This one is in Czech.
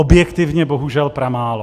Objektivně bohužel pramálo.